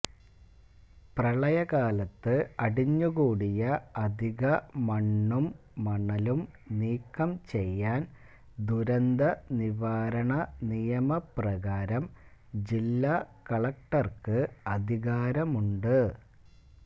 പ്രളയകാലത്ത് അടിഞ്ഞുകൂടിയ അധിക മണ്ണും മണലും നീക്കം ചെയ്യാൻ ദുരന്തനിവാരണ നിയമപ്രകാരം ജില്ലാ കളക്ടർക്ക് അധികാരമുണ്ട്